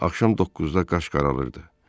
Axşam 9-da qaş qaralırdı.